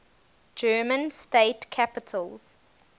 german state capitals